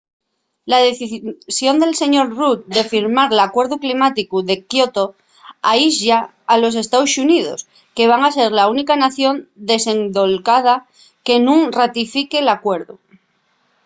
la decisión del sr. rudd de firmar l’alcuerdu climáticu de kyoto aislla a los estaos xuníos que van ser la única nación desendolcada que nun ratifique l’alcuerdu